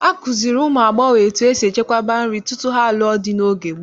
Akụziere ụmụ agbọghọ etu esi echekwaba nri tutu ha lụọ di n'oge gboo.